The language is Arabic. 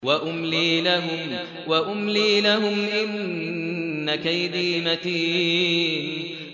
وَأُمْلِي لَهُمْ ۚ إِنَّ كَيْدِي مَتِينٌ